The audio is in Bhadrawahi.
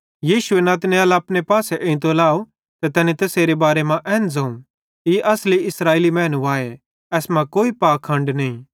यीशुए नतनएल अपने पासे एइतो लाव ते तैनी तैसेरे बारे मां एन ज़ोवं ई असली इस्राएली मैनू आए एसमां कोई पाखंड नईं